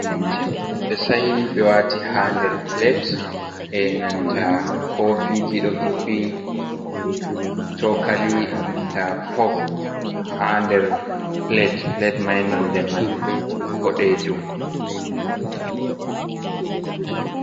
Cim-cim ɓe sa'i ɓe wati ha nder pilat e'nanta kofiji ɗo hippi sokali e'nanta fok ha nder pilat pilat mai nonɗe man boɗejum.